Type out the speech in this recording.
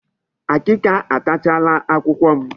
Akịka atachaala akwụkwọ m.